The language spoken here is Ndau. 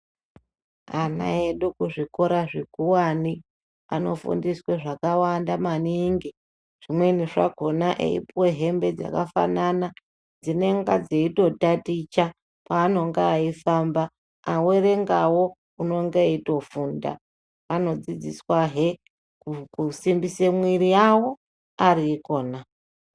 Ana edu kuzvikora zvekuwani anofundiswe zvakawanda maningi zvimweni zvakona eipuwe hembe dzakafanana dzinonga dzeitotaticha peanonga eifamba awerenga wo anonga eitofunda anodzidziswa he kusimbise mwiri yawo ariikona.